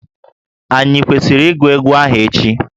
Ànyị kwesịrị ịgụ egwu ahụ echi?